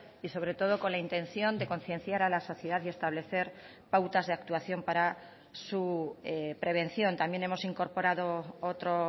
y sobre todo con la intención de concienciar a la sociedad y establecer pautas de actuación para su prevención también hemos incorporado otro